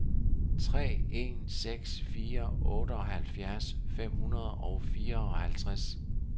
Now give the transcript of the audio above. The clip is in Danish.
tre en seks fire otteoghalvfjerds fem hundrede og fireoghalvtreds